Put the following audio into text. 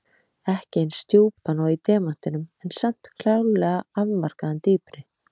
Ekki eins djúpan og í demantinum en samt klárlega afmarkaðan dýpri.